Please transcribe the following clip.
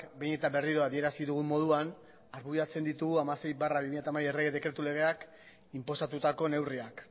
behin eta berriro adierazi dugun moduan argudiatzen ditugu hamasei barra bi mila hamabi errege dekretu legeak inposatutako neurriak